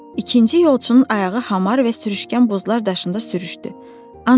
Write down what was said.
İkinci yolçunun ayağı hamar və sürüşkən buzlar daşında sürüşdü.